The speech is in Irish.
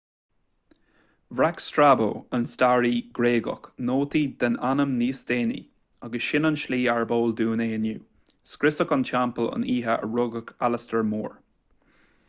bhreac strabo an staraí gréagach nóta den ainm níos déanaí agus sin an tslí arb eol dúinn é inniu scriosadh an teampaill an oíche a rugadh alastar mór